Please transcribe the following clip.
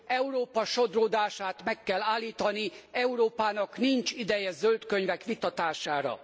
Európa sodródását meg kell állítani. Európának nincs ideje zöld könyvek megvitatására.